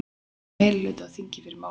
Telja meirihluta á þingi fyrir málinu